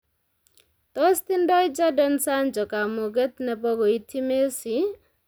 Tos tindoi Jadon Sancho kamuket nebo koityi Messi